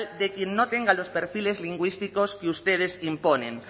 de quien no tenga los perfiles lingüísticos que ustedes imponen